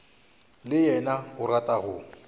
le yena o rata go